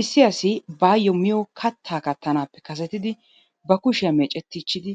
Issi bayuo miyo kattaa kattanappe kasettidi kushiya meeccetichidi,